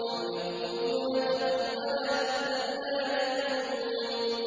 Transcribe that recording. أَمْ يَقُولُونَ تَقَوَّلَهُ ۚ بَل لَّا يُؤْمِنُونَ